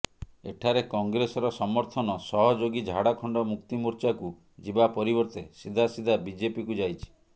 ଏଠାରେ କଂଗ୍ରେସର ସମର୍ଥନ ସହଯୋଗୀ ଝାଡଖଣ୍ଡ ମୁକ୍ତି ମୋର୍ଚ୍ଚାକୁ ଯିବା ପରିବର୍ତ୍ତେ ସିଧା ସିଧା ବିଜେପିକୁ ଯାଇଛି